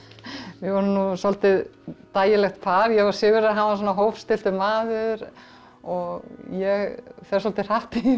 við vorum nú svolítið dægilegt par ég og Sigurður hann svona hófstilltur maður og ég fer svolítið hratt